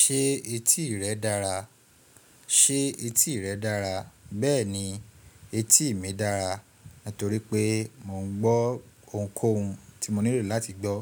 Ṣé etí rẹ dára? Ṣé etí rẹ dára? Bẹ́ẹ̀ ni, etí mi dára nítorí pé mò ń gbọ́ ohunkóhun tí mo nílò láti gbọ́.